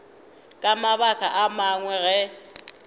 ka mabaka a mangwe ge